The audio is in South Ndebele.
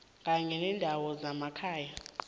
kanye nendawo zemakhaya